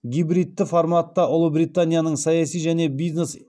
гибридті форматта ұлыбританияның саяси және бизнес